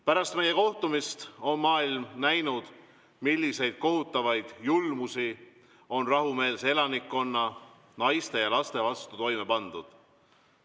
Pärast meie kohtumist on maailm näinud, milliseid kohutavaid julmusi on rahumeelse elanikkonna, naiste ja laste vastu toime pandud.